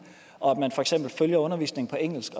og at man for eksempel følger undervisningen på engelsk